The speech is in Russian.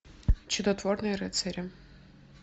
чудотворные рыцари